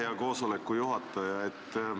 Hea koosoleku juhataja!